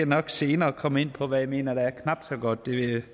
nok senere komme ind på hvad jeg mener der er knap så godt det ved